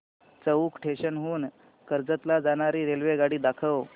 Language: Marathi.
चौक स्टेशन हून कर्जत ला जाणारी रेल्वेगाडी दाखव